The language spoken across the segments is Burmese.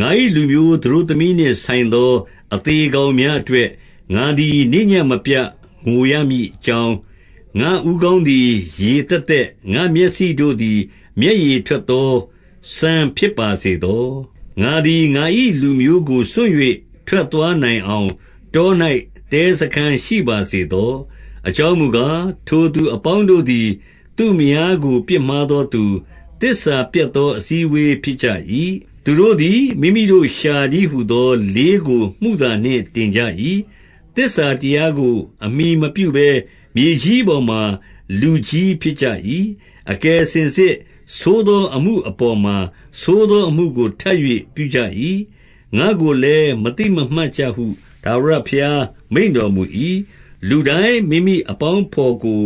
ငါ၏လူမျိုး သတို့သမီးနှင့်ဆိုင်သော အသေ ကောင်များအတွက်၊ ငါသည်နေ့ညဉ့်မပြတ် ငိုရမည် အကြောင်း၊ ငါ့ဦးခေါင်းသည် ရေသက်သက်၊ ငါ့မျက်စိတို့ သည် မျက်ရည်ထွက်သော စမ်းဖြစ်ပါစေသော။ 2 ငါသည် ငါ၏ လူမျိုးကို စွန့်၍ ထွက်သွားနိုင် အောင် တော၌ တဲစားခန်းရှိပါစေသော။ အကြောင်းမူ ကား၊ ထိုသူအပေါင်းတို့သည် သူ့မယားကို ပြစ်မှားသော သူ၊ သစ္စာပျက်သော အစည်းအဝေးဖြစ်ကြ၏။ 3 သူတို့သည် မိမိတို့လျှာတည်းဟူသော လေးကို မုသာနှင့် တင်ကြ၏။ သစ္စာတရားကို အမှီမပြုဘဲ မြေကြီး ပေါ်မှာ လူကြီးဖြစ်ကြ၏။ အကယ်စင်စစ် ဆိုးသောအမှုအပေါ်မှာ ဆိုးသောအမှု ကို ထပ်၍ပြုကြ၏။ ငါ့ကိုလည်း မသိမမှတ်ကြဟု ထာဝရ ဘုရား မိန့်တော်မူ၏။ 4 လူတိုင်းမိမိအပေါင်းအဘော်ကို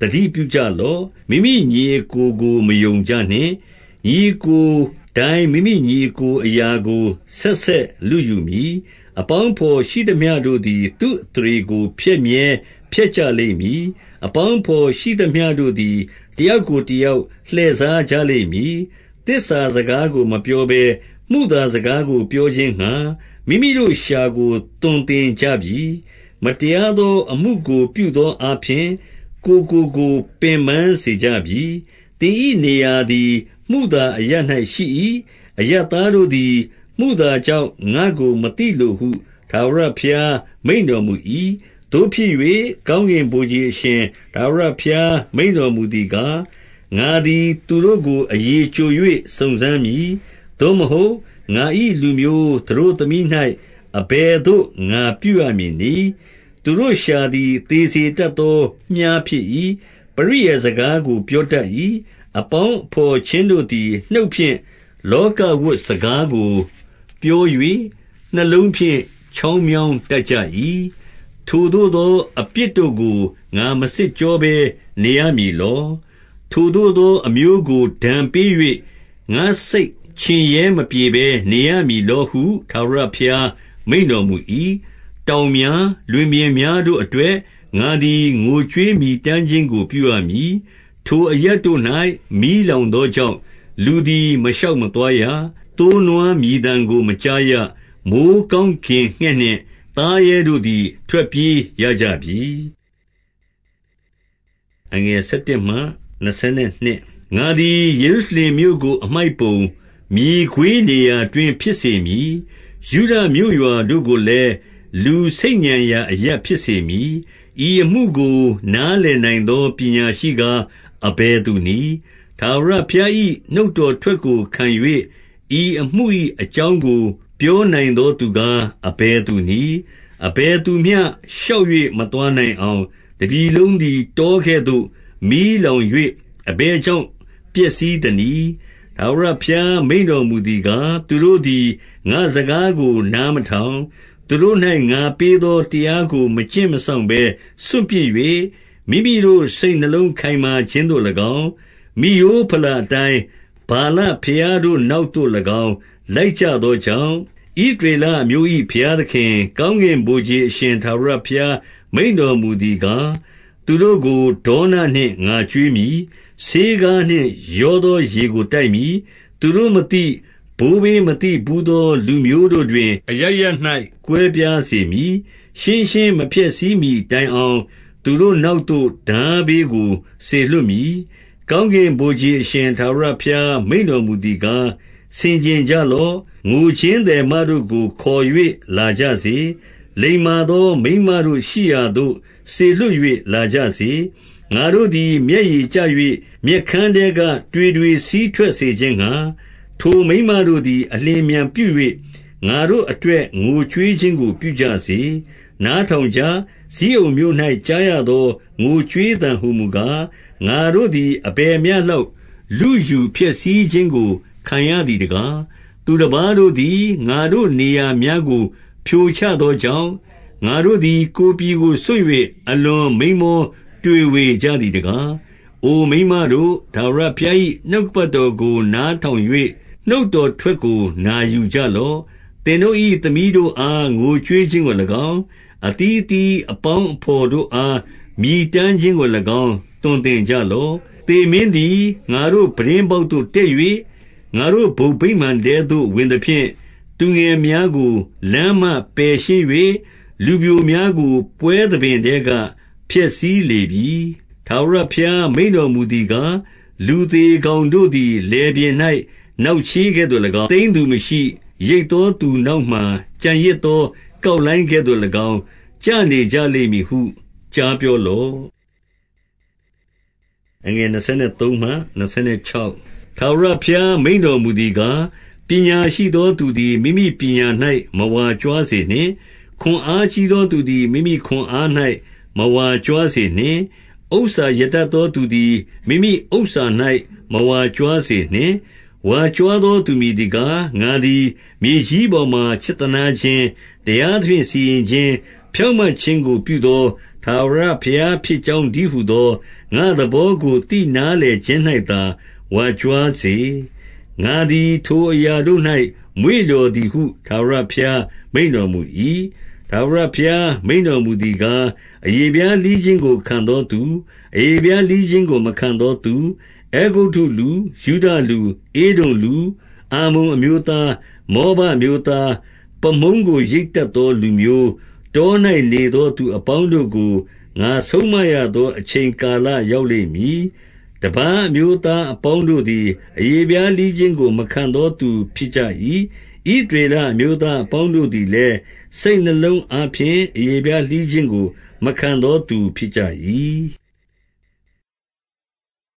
သတိပြုလော့။ မိမိ ညီအစ်ကိုကို မယုံကြနှင့်။ ညီအစ်ကိုတိုင်း မိမိ ညီအစ်ကိုအရာကို ဆက်ဆက်လုယူမည်။ အပေါင်း အဘော်ရှိသမျှတို့သည် သူ့အသရေကို ဖျက်မြဲဖျက်ကြ လိမ့်မည်။ 5 အပေါင်းအဘော်ရှိသမျှတို့သည် တယောက်ကို တယောက် လှည့်စားကြလိမ့်မည်။ သစ္စာစကားကို မပြော ဘဲ မုသာစကားကိုပြောခြင်းငှါ မိမိတို့လျှာကို သွန်သင် ကြပြီ။ မတရားသောအမှုကို ပြုသောအားဖြင့် ကိုယ်ကို ကိုယ် ပင်ပန်းစေကြပြီ။ 6 သင်၏ နေရာသည် မုသာအရပ်၌ရှိ၏။ အရပ် သားတို့သည် မုသာကြောင့် ငါ့ကိုမသိလိုဟု ထာဝရဘုရား မိန့်တော်မူ၏။ 7 သို့ဖြစ်၍၊ ကောင်းကင်ဗိုလ်ခြေအရှင် ထာဝရ ဘုရား မိန့်တော်မူသည်ကား၊ ငါသည်သူတို့ကို အရည်ကျို ၍စုံစမ်းမည်။ သို့မဟုတ်၊ ငါ၏လူမျိုး သတို့သမီး၌ အဘယ် သို့ ငါပြုရမည်နည်း။ 8 သူတို့လျှာသည် သေစေတတ်သောမြှားဖြစ်၏။ ပရိယာယ်စကားကို ပြောတတ်၏။ အပေါင်းအဘော်ချင်း တို့သည် နှုတ်ဖြင့်လောကဝတ်စကားကိုပြော၍၊ နှလုံးဖြင့် ချောင်းမြောင်းတတ်ကြ၏။ 9 ထိုသို့သော အပြစ်တို့ကို ငါမစစ်ကြောဘဲနေရ မည်လော။ ထိုသို့သော အမျိုးကို ဒဏ်ပေး၍၊ ငါ့စိတ်ချင်ရဲ မပြေဘဲ နေရမည်လောဟု ထာဝရဘုရား မိန့်တော်မူ၏။ 10 တောင်များ၊ လွင်ပြင်များတို့အတွက် ငါသည် ငိုကြွေးမြည်တမ်းခြင်းကို ပြုရမည်။ ထိုအရပ်တို့၌ မီးလောင်သောကြောင့်၊ လူသည်မရှောက် မသွားရ။ သိုး နွား မြည်သံကို မကြားရ။ မိုဃ်းကောင်းကင်ငှက်နှင့် သားရဲတို့သည် ထွက်ပြေးရကြပြီ။ 11 ငါသည် ယေရုရှလင်မြို့ကို အမှိုက်ပုံ၊ မြေခွေး နေရာတွင်း ဖြစ်စေမည်။ ယုဒမြို့ရွာတို့ကိုလည်း၊ လူ ဆိတ်ညံရာအရပ်ဖြစ်စေမည်။ 12 ဤအမှုကိုနားလည်နိုင်သော ပညာရှိကား၊ အဘယ်သူနည်း။ ထာဝရဘုရား၏ နှုတ်တော်ထွက်ကိုခံ၍၊ ဤအမှု၏အကြောင်းကို ပြောနိုင်သောသူကား၊ အဘယ် သူနည်း။ အဘယ်သူမျှ ရှောက်၍မသွားနိုင်အောင်၊ တပြည်လုံးသည် တောကဲ့သို့ မီးလောင်၍၊ အဘယ် ကြောင့် ပျက်စီးသနည်း။ 13 ထာဝရဘုရား မိန့်တော်မူသည်ကား၊ သူတို့သည် ငါ့စကားကို နားမထောင်၊ သူတို့၌ ငါပေးသောတရားကို မကျင့်မစောင့်ဘဲ စွန့်ပစ်၍၊ 14 မိမိတို့ စိတ်နှလုံး ခိုင်မာခြင်းသို့၎င်း၊ မိရိုးဘလာ အတိုင်း ဗာလဘုရားတို့နောက်သို့၎င်း လိုက်ကြသော ကြောင့်၊ 15 ဣသရေလအမျိုး၏ ဘုရားသခင်၊ ကောင်းကင် ဗိုလ်ခြေအရှင် ထာဝရဘုရား မိန့်တော်မူသည်ကား၊ သူတို့ကို ဒေါနနှင့် ငါကျွေးမည်။ ဆေးခါးနှင့်ရောသော ရေကို တိုက်မည်။ 16 သူတို့မသိ၊ ဘိုးဘေးမသိဘူးသော လူမျိုးတို့တွင် အရပ်ရပ်၌ ကွဲပြားစေမည်။ ရှင်းရှင်းမဖျက်ဆီးမှီတိုင် အောင်၊ သူတို့နောက်သို့ ထားဘေးကို စေလွှတ်မည်။ 17 ကောင်းကင်ဗိုလ်ခြေအရှင် ထာဝရဘုရား မိန့်တော်မူသည်ကား၊ ဆင်ခြင်ကြလော့၊ ငိုခြင်းသည် မတို့ကိုခေါ်၍ လာကြစေ။ လိမ္မာသော မိန်းမတို့ ရှိရာသို့ စေလွှတ်၍ လာကြစေ။ 18 ငါတို့သည် မျက်ရည်ကျ၍၊ မျက်ခမ်းထဲက တွေတွေစီးထွက်စေခြင်းငှါ၊ ထိုမိန်းမတို့သည် အလျင် အမြန်ပြု၍၊ ငါတို့အတွက် ငိုကြွေးခြင်းကို ပြုကြစေ။ 19 နားထောင်ကြ။ ဇိအုန်မြို့၌ ကြားရသော ငိုကြွေးသံဟူမူကား၊ ငါတို့သည် အဘယ်မျှလောက် လုယူ ဖျက်ဆီးခြင်းကိုခံရသည်တကား။ သူတပါးတို့သည် ငါတို့ နေရာများကို ဖြိုချသောကြောင့်၊ ငါတို့သည် ကိုယ်ပြည်ကို စွန့်၍ အလွန်မိန်းမောတွေဝေကြသည်တကား။ 20 အိုမိန်းမတို့၊ ထာဝရဘုရား၏ နှုတ်ကပတ်တော် ကို နားထောင်၍၊ နှုတ်တော်ထွက်ကို နာယူကြလော့။ သင်တို့၏ သမီးတို့အား ငိုကြွေးခြင်းကို၎င်း၊ အသီးအသီး အပေါင်းအဘော်တို့အား မြည်တမ်းခြင်းကို၎င်း သွန်သင် ကြလော့။ 21 သေမင်းသည် ငါတို့ပြတင်းပေါက်သို့ တက်၍၊ ငါတို့ဘုံဗိမာန်ထဲသို့ဝင်သဖြင့်၊ သူငယ်များကို လမ်းမှပယ် ရှင်း၍၊ လူပျိုများကို ပွဲသဘင်ထဲက ဖျက်ဆီးလေပြီ။ 22 ထာဝရဘုရား မိန့်တော်မူသည်ကား၊ လူသေ ကောင်တို့သည် လယ်ပြင်၌ နောက်ချေးကဲ့သို့၎င်း၊ သိမ်း သူမရှိ၊ ရိတ်သောသူနောက်မှာ ကျန်ရစ်သော ကောက် လှိုင်းကဲ့သို့၎င်း ကျနေကြလိမ့်မည်ဟု ကြားပြောလော့။ 23 ထာဝရဘုရားမိန့်တော်မူသည်ကား၊ ပညာရှိ သောသူသည် မိမိပညာ၌ မဝါကြွားစေနှင့်။ ခွန်အားကြီး သောသူသည် မိမိခွန်အား၌ မဝါကြွားစေနှင့်။ ဥစ္စာ ရတတ်သောသူသည် မိမိဥစ္စာ၌ မဝါကြွားစေနှင့်။ 24 ဝါးကြွားသောသူ မည်သည်ကား၊ ငါသည် မြေကြီးပေါ်မှာ ချစ်သနားခြင်း၊ တရားသဖြင့် စီရင်ခြင်း၊ ဖြောင့်မတ်ခြင်းကို ပြုသောထာဝရ ဘုရားဖြစ်ကြောင်း တည်းဟူသော၊ ငါ့သဘောကို သိနားလည်ခြင်း၌သာ ဝါကြွားစေ။ ငါသည် ထိုအရာတို့၌ မွေ့လျော်သည်ဟု ထာဝရဘုရား မိန့်တော်မူ၏။ 25 ထာဝရဘုရားမိန့်တော်မူသည်ကား၊ အရေဖျား လှီးခြင်းကို ခံသောသူ၊ အရေဖျားလှီးခြင်းကို မခံသောသူ၊ 26 အဲဂုတ္တုလူ၊ ယုဒလူ၊ ဧဒုံလူ၊ အမ္မုန်အမျိုးသား၊ မောဘအမျိုးသား၊ ပါးမုန်းကို ရိတ်တတ်သော လူမျိုး၊ တော၌နေသော သူအပေါင်းတို့ကို ငါဆုံးမရသော အချိန် ကာလရောက်လိမ့်မည်။ တပါးအမျိုးသားအပေါင်း တို့သည် အရေဖျားလှီးခြင်းကို မခံသောသူဖြစ်ကြ၏။ ဣသရေလအမျိုးသားအပေါင်းတို့သည်လည်း၊ စိတ်နှလုံး အားဖြင့် အရေဖျားလှီးခြင်းကို မခံသောသူဖြစ်ကြ၏။